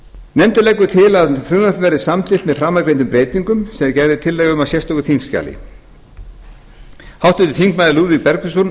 nefndin leggur til að frumvarpið verði samþykkt með framangreindum breytingum sem gerð er tillaga um í sérstöku þingskjali háttvirtir þingmenn lúðvík bergvinsson